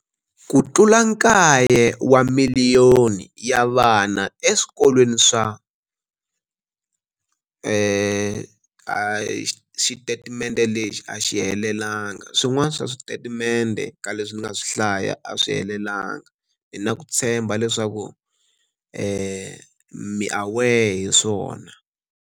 Ku tlula kaye wa miliyoni ya vana eswikolweni swa.